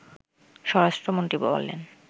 স্বরাষ্ট্রমন্ত্রী বলেন